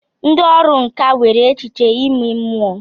Ndị ọrụ nkà nwere echiche ime mmụọ.